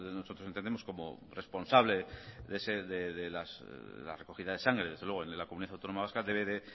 nosotros entendemos como responsable de la recogida de sangre desde luego en la comunidad autónoma vasca debe de